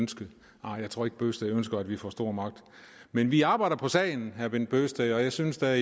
ønske nej jeg tror ikke herre bøgsted ønsker at vi får stor magt men vi arbejder på sagen herre bent bøgsted og jeg synes da